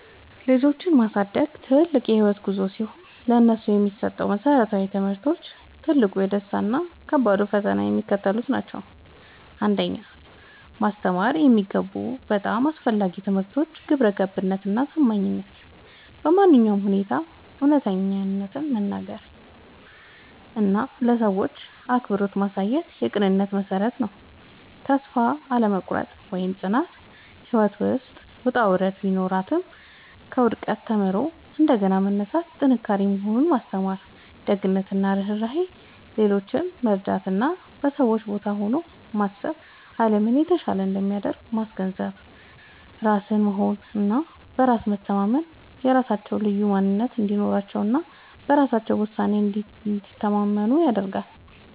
ልጆችን ማሳደግ ትልቅ የህይወት ጉዞ ሲሆን፥ ለነሱ የሚሰጡ መሰረታዊ ትምህርቶች፣ ትልቁ ደስታ እና ከባዱ ፈተና የሚከተሉት ናቸው 1. ማስተማር የሚገቡ በጣም አስፈላጊ ትምህርቶች ግብረገብነት እና ታማኝነት በማንኛውም ሁኔታ እውነትን መናገር እና ለሰዎች አክብሮት ማሳየት የቅንነት መሠረት ነው። ተስፋ አለመቁረጥ (ጽናት)፦ ህይወት ውጣ ውረድ ቢኖራትም፣ ከውድቀት ተምሮ እንደገና መነሳት ጥንካሬ መሆኑን ማስተማር። ደግነት እና ርህራሄ፦ ሌሎችን መርዳት እና በሰዎች ቦታ ሆኖ ማሰብ አለምን የተሻለች እንደሚያደርግ ማስገንዘብ። ራስን መሆን እና በራስ መተማመን፦ የራሳቸውን ልዩ ማንነት እንዲወዱ እና በራሳቸው ውሳኔ እንዲተማመኑ ማድረግ።